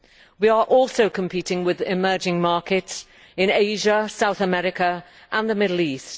We are also competing with emerging markets in Asia, South America and the Middle East.